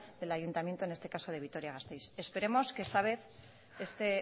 del ayuntamiento en este caso de vitoria gasteiz esperemos que esta vez este